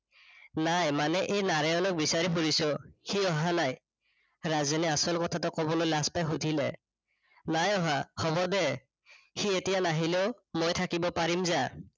নাই মানে এই নাৰায়নক বিচাৰি ফুৰিছো, সি অহা নাই? ৰাজেনে আচল কথাতো কবলৈ লাজ পাই শুধিলে। নাই অহা, হৱ দে। সি এতিয়া নাহিলেও মই থাকিব পাৰিম যা।